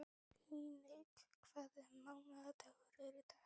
Líneik, hvaða mánaðardagur er í dag?